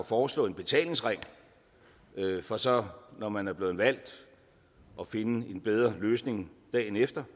foreslå en betalingsring for så når man er blevet valgt at finde en bedre løsning dagen efter